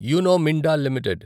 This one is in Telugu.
you know Minda limited